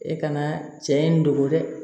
E ka na cɛ in dogo dɛ